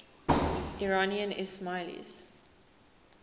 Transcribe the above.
iranian ismailis